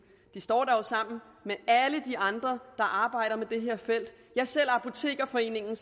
de står der jo sammen med alle de andre der arbejder med det her felt ja selv apotekerforeningen